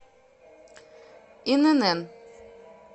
инн